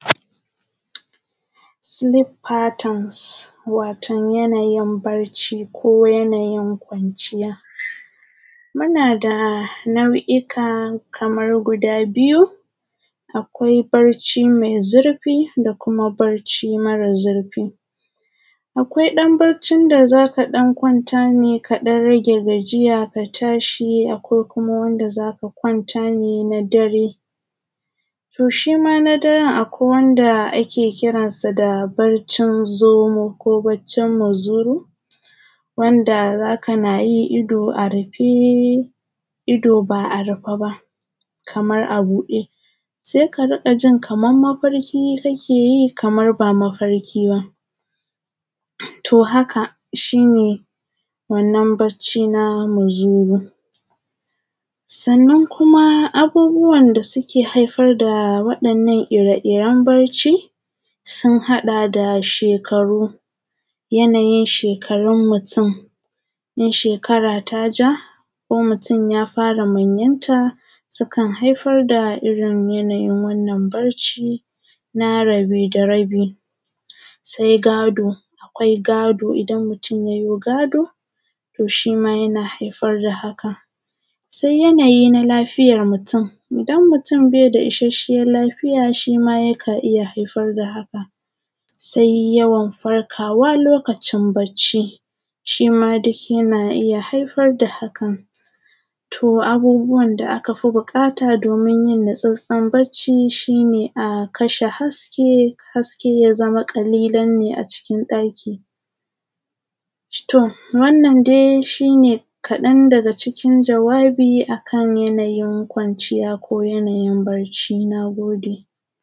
Silip fatune watom yanayin bacci ko yanayin kwanciya muna da nau’ika kaman guda biyu, akwai bacci me zirfi da kuma bacci mara zurfi, akwai ɗan baccin da za ka kwanta kaɗan rage gajiya ka tashi ko kuma wanda za ka kwanta ne na dare to shi ma na daren akwai wanda ake kiransa da baccin za mu ko baccin mazuru wanda za kana yi ido a rife, ido ba a rife ba kamar a buɗe, se ka riƙa jin kamar mafarki kake yi kamar ba mafarki ba. To, haka shi ne wannan baccin na mazuru sannan kuma abubuwan da suke haifar da waɗannan ire-iren bacci sun haɗa da: shekaru, yanayin shekarun mutun in shekara ta ja ko mutun ya fara manyanta sukan haifar da yanayin irin wannan bacci na rabe da rabi. Se gado, akwai gado idan mutun ya yi gado to shi ma yana haifar da haka sai yanayi na lafiyan mutun, idan mutun bai da isashen lafiya shi ma yakan iya haifar da haka. Sai yawan farkawa lokacin bacci, shi ma duk yana iya haifar da haka to abubuwa da aka fi buƙata domin yin natsatstsen bacci shi ne a kashe haske, haske ya zama ƙalilan ne a cikin ɗaki tom wannanan dai shi ne kaɗan daga cikin jawabi a kan yanayin kwanciya ko yanayin barci. Na gode.